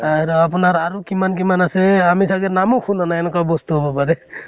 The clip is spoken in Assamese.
আৰ আপোনাৰ আৰু কিমান কিমান আছে এ আমি চাগে নামো শুনা নাই এনেকুৱা বস্তু হব পাৰে